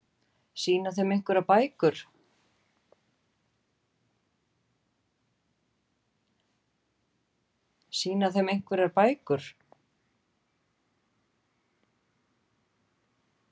Sýna þeim einhverjar bækur?